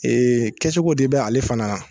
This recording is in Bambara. kɛcogo de bɛ ale fana na